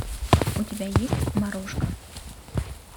у тебя есть морошка